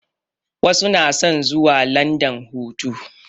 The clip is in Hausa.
Wasu na son zuwa landan hutu